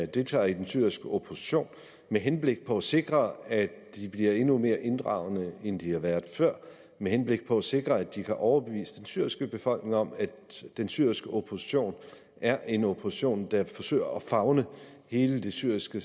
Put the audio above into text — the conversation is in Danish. deltager i den syriske opposition med henblik på at sikre at de bliver endnu mere inddragende end de har været før med henblik på at sikre at de kan overbevise den syriske befolkning om at den syriske opposition er en opposition der forsøger at favne hele det syriske